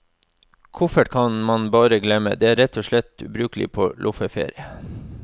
Koffert kan man bare glemme, den er rett og slett ubrukelig på loffeferie.